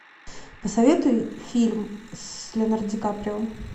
посоветуй фильм с леонардо ди каприо